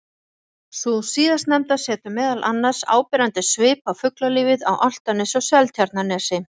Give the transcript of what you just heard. Sú síðastnefnda setur meðal annars áberandi svip á fuglalífið á Álftanesi og Seltjarnarnesi.